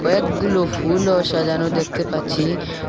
অনেকগুলো ফুলও সাজানো দেখতে পাচ্ছি।